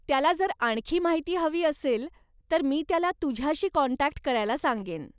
त्याला जर आणखी माहिती हवी असेल तर मी त्याला तुझ्याशी काँटॅक्ट करायला सांगेन.